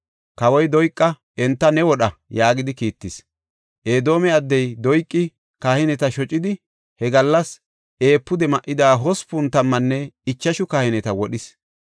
Kawoy Doyqa, “Enta ne wodha” yaagidi kiittis. Edoome addey Doyqi kahineta shocidi, he gallas efuude ma7ida hospun tammanne ichashu kahineta wodhis.